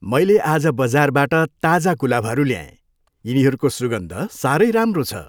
मैले आज बजारबाट ताजा गुलाबहरू ल्याएँ। यिनीहरूको सुगन्ध साह्रै राम्रो छ।